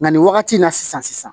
Nka nin wagati in na sisan